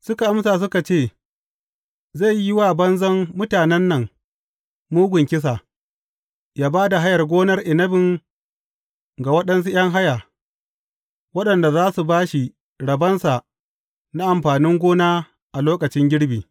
Suka amsa suka ce, Zai yi wa banzan mutanen nan mugun kisa, yă ba da hayar gonar inabin ga waɗansu ’yan haya, waɗanda za su ba shi rabonsa na amfanin gona a lokacin girbi.